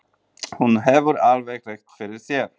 Hún hefur alveg rétt fyrir sér.